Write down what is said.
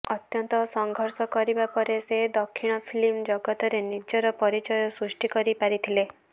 ଅତ୍ୟନ୍ତ ସଂଘର୍ଷ କରିବା ପରେ ସେ ଦକ୍ଷିଣ ଫିଲ୍ମ ଜଗତରେ ନିଜର ପରିଚୟ ସୃଷ୍ଟି କରି ପାରିଥିଲେ